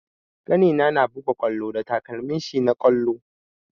Ƙanina na buga ƙwallo da takalmin shi na ƙwallo.